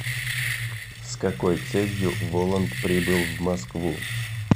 с какой целью воланд прибыл в москву